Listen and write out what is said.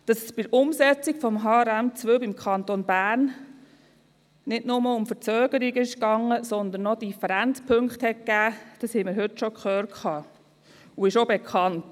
Dass es bei der Umsetzung von HRM2 beim Kanton Bern nicht nur um Verzögerungen gegangen ist, sondern auch Differenzpunkte gegeben hat, das haben wir heute schon gehört und das ist auch bekannt.